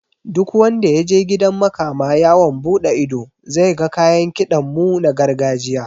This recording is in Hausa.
Duk wanda yaje gidan makama yawon buɗe ido zai ga kayan kiɗan mu na gargajiya